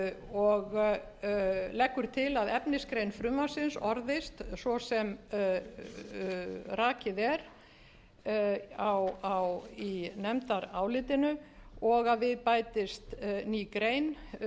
og leggur til að efnisgrein frumvarpsins orðist svo sem rakið er í nefndarálitinu og að við bætist ný grein